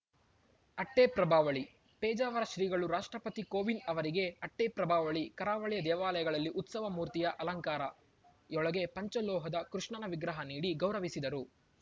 ಅಟ್ಟೆಪ್ರಭಾವಳಿ ಪೇಜಾವರ ಶ್ರೀಗಳು ರಾಷ್ಟ್ರಪತಿ ಕೋವಿಂದ್‌ ಅವರಿಗೆ ಅಟ್ಟೆಪ್ರಭಾವಳಿ ಕರಾವಳಿಯ ದೇವಾಲಯಗಳಲ್ಲಿ ಉತ್ಸವ ಮೂರ್ತಿಯ ಅಲಂಕಾರ ಯೊಳಗೆ ಪಂಚಲೋಹದ ಕೃಷ್ಣನ ವಿಗ್ರಹ ನೀಡಿ ಗೌರವಿಸಿದರು